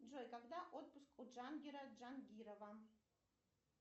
джой когда отпуск у джангера джангирова